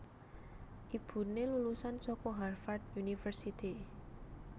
Ibuné lulusan saka Harvard University